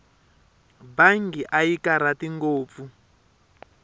mbangi a yi karhati ngopfu